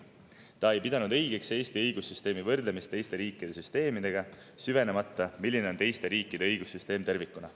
ei pidanud õigeks Eesti õigussüsteemi võrdlemist teiste riikide süsteemidega, süvenemata sellesse, milline on teiste riikide õigussüsteem tervikuna.